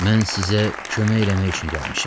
Mən sizə kömək eləmək üçün gəlmişəm.